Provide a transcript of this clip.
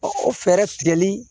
O fɛɛrɛ tigɛli